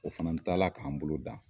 O fana taa la k'an bolo dan.